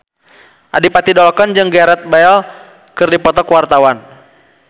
Adipati Dolken jeung Gareth Bale keur dipoto ku wartawan